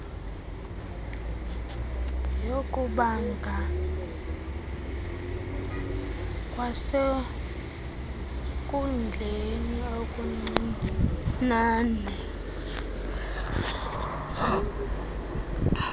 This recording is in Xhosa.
yokubanga kwasenkundleni okuncincne